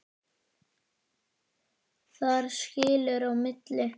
Þar skilur á milli.